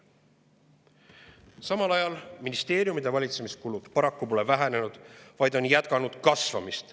Samal ajal pole ministeeriumide valitsemiskulud vähenenud, vaid on jätkanud kasvamist.